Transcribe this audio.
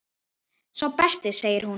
Sá besti segir hún.